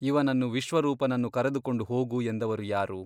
ಇವನನ್ನು ವಿಶ್ವರೂಪನನ್ನು ಕರದುಕೊಂಡು ಹೋಗು ಎಂದವರು ಯಾರು?